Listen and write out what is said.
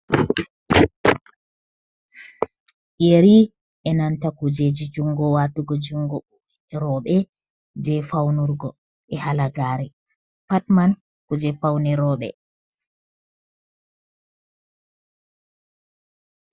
Yeri, e nanta kujeji jungo watugo jungo roɓe je faunurgo e halagare pattman kuje paune roɓe.